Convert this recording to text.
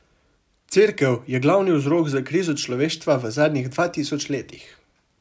Cerkev je glavni vzrok za krizo človeštva v zadnjih dva tisoč letih.